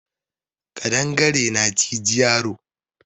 Ƙadangare na ciji yaro